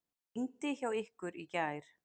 Rigndi hjá ykkur í gær?